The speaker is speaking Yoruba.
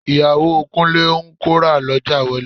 Ìyàwó Kúnlé ń kó rà lọ́jà wọlé